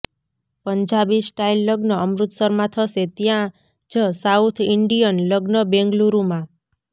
Punjabi style લગ્ન અમૃતસરમાં થશે ત્યાં જ સાઉથ ઇન્ડીયન લગ્ન બેંગલુરુમાં